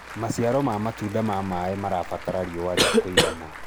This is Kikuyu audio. maciaro ma matunda ma maĩ marabatara riũa ria kũigana